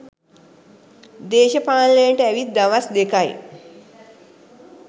දේශපාලනේට ඇවිත් දවස් දෙකයි.